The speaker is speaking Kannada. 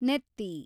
ನೆತ್ತಿ